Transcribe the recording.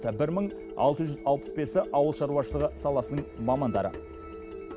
бір мың алты жүз алпыс бесі ауыл шаруашылығы саласының мамандары